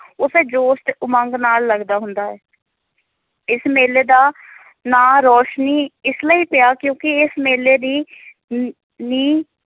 ਉਸੇ ਜੋਸ਼ ਉਮੰਗ ਨਾਲ ਲੱਗਦਾ ਹੁੰਦਾ ਹੈ ਇਸ ਮੇਲੇ ਦਾ ਨਾਂ ਰੋਸ਼ਨੀ ਇਸ ਲਈ ਪਿਆ ਕਿਉਂਕਿ ਇਸ ਮੇਲੇ ਦੀ ਨ ਨੀਂਹ